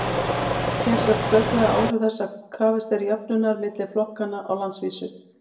hér sjást glögglega áhrif þess að krafist er jöfnunar milli flokkanna á landsvísu